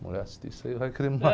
Mulher assistir isso aí, vai querer me